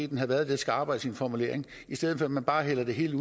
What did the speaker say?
den havde været lidt skarpere i sin formulering i stedet for at man bare lader det hele